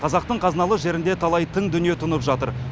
қазақтың қазыналы жерінде талай тың дүние тұнып жатыр